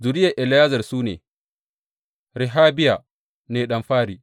Zuriyar Eliyezer su ne, Rehabiya ne ɗan fari.